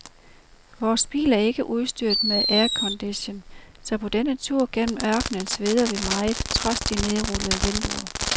Vores bil er ikke udstyret med aircondition, så på denne tur gennem ørkenen sveder vi meget trods de nedrullede vinduer.